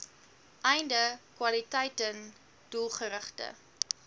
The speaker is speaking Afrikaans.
einde kwaliteiten doelgerigte